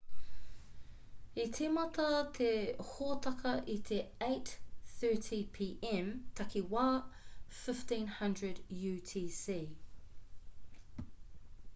i tīmata te hōtaka i te 8.30 p.m. takiwā 15.00 utc